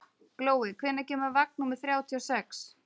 Glói, hvenær kemur vagn númer þrjátíu og sex?